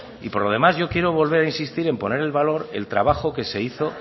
y por lo demás yo quiero volver a insistir en poner en valor el trabajo que se hizo